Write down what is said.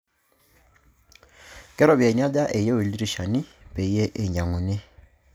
Ke irpoyiani aja eyiu ildirishani peyie iny'ang'uni?